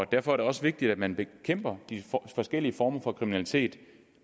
derfor er det også vigtigt at man bekæmper disse forskellige former for kriminalitet